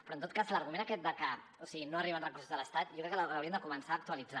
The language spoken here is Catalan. però en tot cas l’argument aquest de que no arriben recursos de l’estat jo crec que l’hauríem de començar a actualitzar